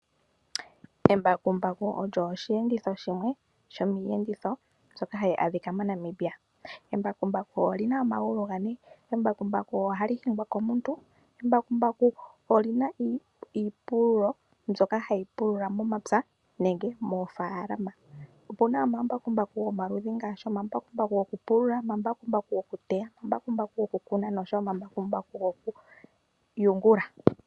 Embakumbaku olyo osheenditho shimwe shomiiyenditho mbyoka hayi adhika moNamibia. Embakumbaku olina omagulu gane. Embakumbaku ohali hingwa komuntu. Embakumbaku olina iipululo mbyoka hayi pulula momapya nenge moofaalama. Opuna omambakumbaku gomaludhi ngaashi omambakumbaku gokupulula, omambakumbaku gokuteya, omambakumbaku gokukuna oshowo omambakumbaku gokuyungula.